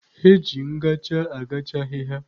Eji ngacha agacha ahịhịa.